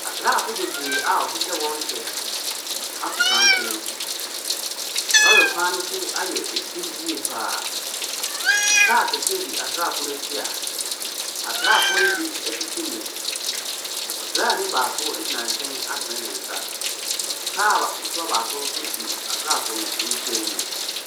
Asraafo bebree a wɔhyehyɛ wɔn kyɛ ato santene. Lɔre kwan no so ayɛ fi yie pa ara. Kaa kɛseɛ di asraafoɔ no akyi a asraafoɔ no bi tete mu. Ɔsraani baako gyina nkyɛn atene ne nsa. Kaa ba ketewa baako nso di asraafoɔ no nkyɛn mu.